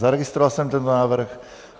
Zaregistroval jsem tento návrh.